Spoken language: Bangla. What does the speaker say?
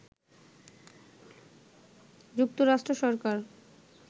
যুক্তরাষ্ট্র সরকার